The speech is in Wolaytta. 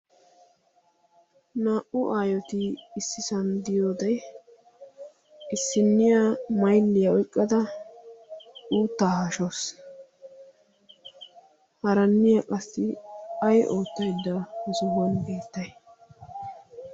naa'u aayoti issisanddiyoodee issinniya mailliyaa oiqqada uuttaa hashoos haaranniya qassi ay oottaydda osohuwon eettii?